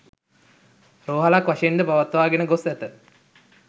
රෝහලක් වශයෙන් ද පවත්වාගෙන ගොස් ඇත.